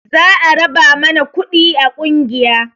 Za a raba mana kuɗi a ƙungiya